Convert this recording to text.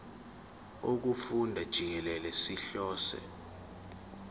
wokufunda jikelele sihlose